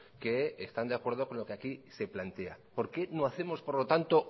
que están de acuerdo con lo que aquí se plantea por qué no hacemos por lo tanto